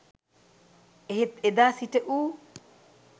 එහෙත් එදා සිට ඌ